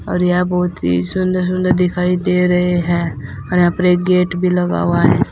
और यहां बहुत ही सुंदर सुंदर दिखाई दे रहे हैं और यहां पर एक गेट भी लगा हुआ है।